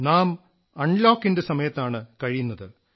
നാം അൺലോകിന്റെ സമയത്താണ് കഴിയുന്നത്